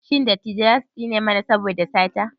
Shin dattijai za su tsine mana saboda sata?